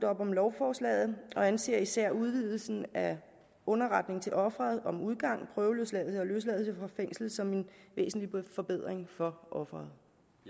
op om lovforslaget og anser især udvidelsen af underretningen til offeret om udgang prøveløsladelse og løsladelse fra fængslet som en væsentlig forbedring for offeret